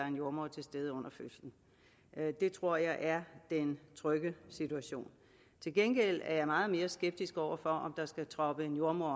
en jordemoder til stede under fødslen det tror jeg er den trygge situation til gengæld er jeg meget mere skeptisk over for om der skal troppe en jordemoder